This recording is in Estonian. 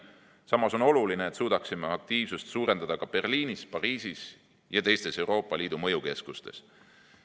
Samas on oluline, et suudaksime aktiivsust suurendada ka Berliinis, Pariisis ja teistes Euroopa Liidu mõjukeskustes.